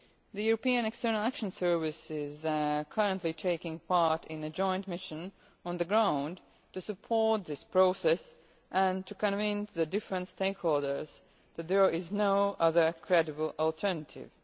The Eureopan External Action Service is currently taking part in a joint mission on the ground to support this process and to convince the different stakeholders that there is no other credible alternative.